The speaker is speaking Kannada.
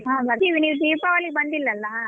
ಹ್ಮ್ ಬರ್ತೀವಿ ನೀವ್ ದೀಪಾವಳಿಗ್ ಬಂದಿಲ್ಲ ಅಲ್ಲ.